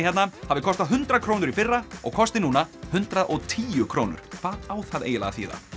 hérna hafi kostað hundrað krónur í fyrra og kosti núna hundrað og tíu krónur hvað á það eiginlega að þýða